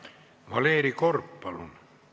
Valeri Korb, palun!